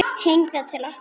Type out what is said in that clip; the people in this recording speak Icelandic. Hingað til okkar?